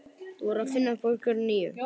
Þú verður að finna upp á einhverju nýju.